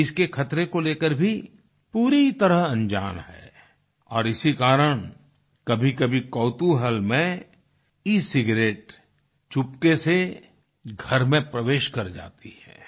वे इसके खतरे को लेकर भी पूरी तरह अंजान हैं और इसी कारण कभीकभी कौतुहल में ई सिगारेट चुपके से घर में प्रवेश कर जाती है